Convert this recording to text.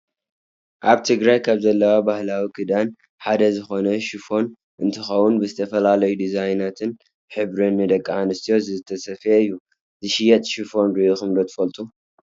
ኣብ ትግራይ ካብ ዘለዉ ባህላዊ ክዳን ሓደ ዝኮነ ሽፎን እንትከውን ብዝተፈላለዩ ዲዛይናትን ሕብርን ንደቂ ኣንስትዮ ዝተሰፈየ እዩ። ዝሽየጥ ሽፎን ሪኢኩም ዶ ትፈልጡ ?